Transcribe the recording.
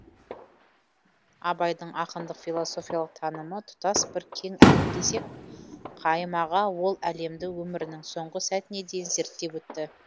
абайдың ақындық философиялық танымы тұтас бір кең әлем десек қайым аға ол әлемді өмірінің соңғы сәтіне дейін зерттеп өтті